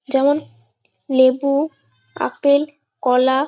যেমন লেবু আপেল কলা ।